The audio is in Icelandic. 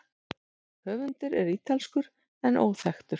Höfundur er ítalskur en óþekktur.